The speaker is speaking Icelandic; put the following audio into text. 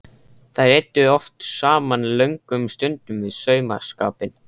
Þær eyddu oft saman löngum stundum við saumaskapinn.